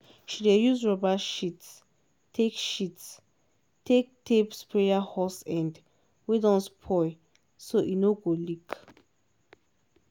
she dey use rubber sheet take sheet take tape sprayer hose end wey don spoil so e no go leak.